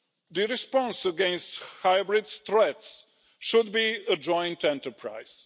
The response against hybrid threats should be a joint enterprise.